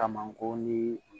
Kama ko ni